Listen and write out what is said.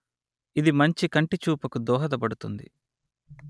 ఇది మంచి కంటిచూపుకు దోహపడుతుంది